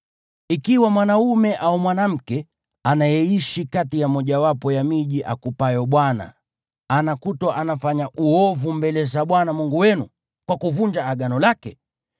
Ikiwa mwanaume au mwanamke anayeishi kati ya mojawapo ya miji akupayo Bwana , anakutwa anafanya uovu mbele za Bwana Mungu wenu, kwa kuvunja Agano lake,